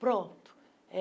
Pronto. eh